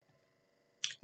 DR1